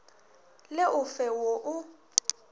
le o fe wo o